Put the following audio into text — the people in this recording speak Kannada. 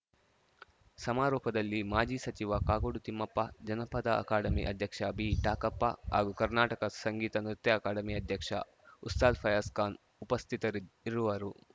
ಸಮಾರೋಪದಲ್ಲಿ ಮಾಜಿ ಸಚಿವ ಕಾಗೋಡು ತಿಮ್ಮಪ್ಪ ಜನಪದ ಅಕಾಡೆಮಿ ಅಧ್ಯಕ್ಷ ಬಿಟಾಕಪ್ಪ ಹಾಗೂ ಕರ್ನಾಟಕ ಸಂಗೀತ ನೃತ್ಯ ಅಕಾಡೆಮಿ ಅಧ್ಯಕ್ಷ ಉಸ್ತಾದ್‌ ಫಯಾಜ್‌ ಖಾನ್‌ ಉಪಸ್ಥಿತರಿರುವರು